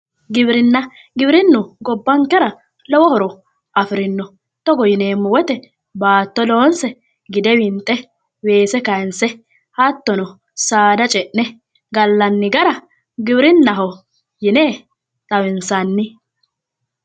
Giwirinna, giwirinna yineemmohu gobbankera lowo horo afirino togo yineemmo woyte baatto loonse gide winxe weese kayinse hattono saada ce'ne gallanni gara giwirinnaho yine xawinsanni